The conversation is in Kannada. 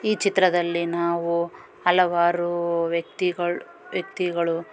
ಈ ಚಿತ್ರದಲ್ಲಿ ನಾವು ಹಲವಾರು ವ್ಯಕ್ತಿಗಳ್ ವ್ಯಕ್ತಿಗಳು --